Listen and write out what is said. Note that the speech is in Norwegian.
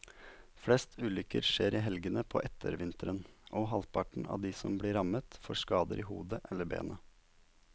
Flest ulykker skjer i helgene på ettervinteren, og halvparten av de som blir rammet får skader i hodet eller beina.